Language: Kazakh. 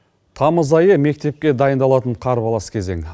тамыз айы мектепке дайындалатын қарбалас кезең